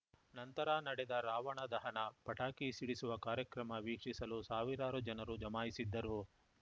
ನಂತರ ನಡೆದ ರಾವಣದಹನ ಪಟಾಕಿ ಸಿಡಿಸುವ ಕಾರ್ಯಕ್ರಮ ವೀಕ್ಷಿಸಲು ಸಾವಿರಾರು ಜನರು ಜಮಾಯಿಸಿದ್ದರು